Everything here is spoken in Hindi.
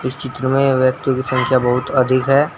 चित्र में व्यक्तियों की संख्या बहुत अधिक है।